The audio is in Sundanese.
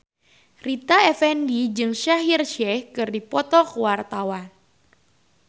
Rita Effendy jeung Shaheer Sheikh keur dipoto ku wartawan